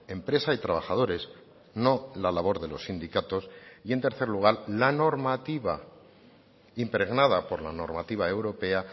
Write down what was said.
empresa y trabajadores no la labor de los sindicatos y en tercer lugar la normativa impregnada por la normativa europea